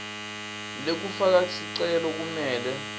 lekufaka sicelo kumele